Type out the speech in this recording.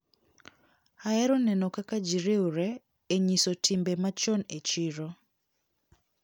Ahero neno kaka ji riwre e nyiso timbe machon e chiro.